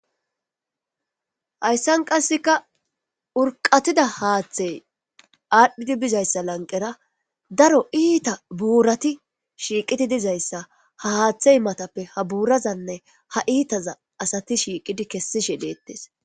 Haysan qaseka urqatida hathe adhidi bizaysa lanqera daro ita burati shiqidi dizaysa ha hathe matappe ha burazanne ha itaza asati shiqidi kesishe detes.